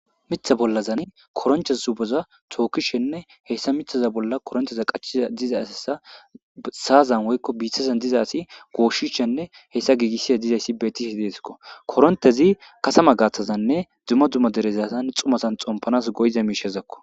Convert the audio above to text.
mitha bollazani koroncheza zuboza tookishenne hessa mithaza bolla koronteza qachiza diza asasa saazan woykko biithazan diza asi gooshishshenne hessa giigissiya dizayssi beetise deeskko korontezi kasama gaaththazanne dzuma dzuma derezazan xumazan xompanas goyiza miishezakko